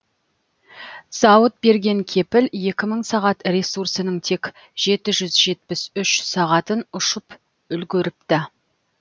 зауыт берген кепіл екі мың сағат ресурсының тек жеті жүз жетпіс үш сағатын ұшып үлгеріпті